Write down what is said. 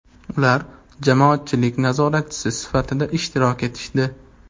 Ular jamoatchilik nazoratchisi sifatida ishtirok etishdi.